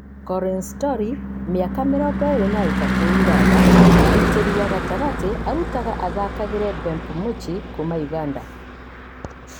Collins Tori , mĩaka mĩrongo ĩrĩ na ĩtatũ (Ũganda) mũgitĩri wa gatagatĩ arutaga athakagera Bernb Muchi kuuma Ũganda.